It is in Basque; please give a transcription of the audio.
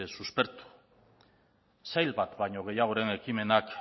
suspertu sail bat baino gehiagoren ekimenak